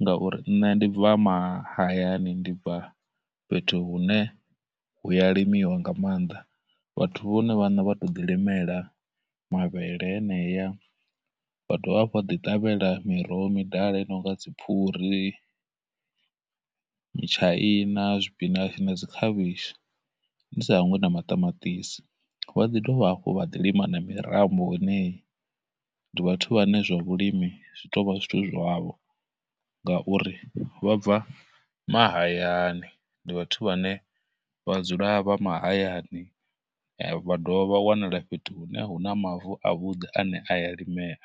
ngauri nne ndi bva mahayani, ndi bva fhethu hune huya limiwa nga maanḓa. Vhathu vhone vhaṋe vha tou ḓi limela mavhele heneya, vha dovha hafhu vha ḓi ṱavhela miroho midala i nonga dziphuri, mutshaina, zwipinatshi na dzikhavhishi, ndi sa hangwi na maṱamaṱisi. Vha ḓi dovha hafhu vha ḓi lima na mirambo heneyi, ndi vhathu vhane zwa vhulimi zwi tou vha zwithu zwavho ngauri, vha bva mahayani, ndi vhathu vhane vha dzula vha mahayani, vha dovha vha wanala fhethu hune hu na mavu avhuḓi ane a ya limea.